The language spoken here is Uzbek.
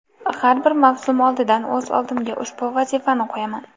Har bir mavsum oldidan o‘z oldimga ushbu vazifani qo‘yaman.